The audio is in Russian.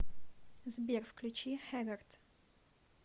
сбер включи хэгард